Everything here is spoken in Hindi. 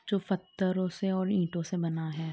जो फ़तरों से और ईटों से बना है ।